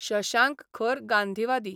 शशांक खर गांधीवादी.